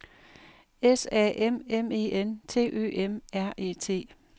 S A M M E N T Ø M R E T